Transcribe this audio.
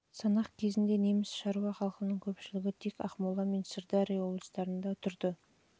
санақ кезінде неміс шаруа халқының көпшілігі тек ақмола және сырдария облыстарында тұрды